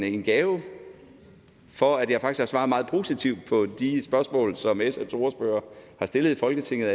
en gave for at jeg faktisk har svaret meget positivt på de spørgsmål som sfs ordfører har stillet i folketinget